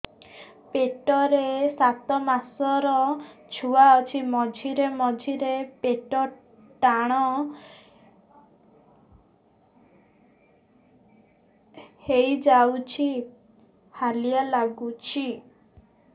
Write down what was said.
ପେଟ ରେ ସାତମାସର ଛୁଆ ଅଛି ମଝିରେ ମଝିରେ ପେଟ ଟାଣ ହେଇଯାଉଚି ହାଲିଆ ଲାଗୁଚି